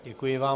Děkuji vám.